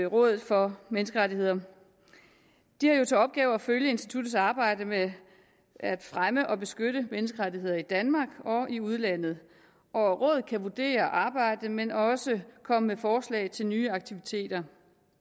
rådet for menneskerettigheder de har jo til opgave at følge instituttets arbejde med at fremme og beskytte menneskerettigheder i danmark og i udlandet og rådet kan vurdere arbejdet men også komme med forslag til nye aktiviteter